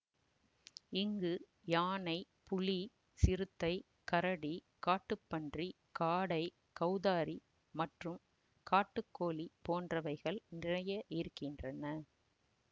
இங்கு யானை புலி சிறுத்தை கரடி காட்டுப்பன்றி காடை கவுதாரி மற்றும் காட்டுக்கோழி போன்றவைகள் நிறைய இருக்கின்றன